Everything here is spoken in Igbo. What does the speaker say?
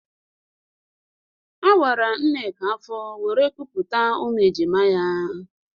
A wara Nneka afọ wéré kupụta ụmụ ejima ya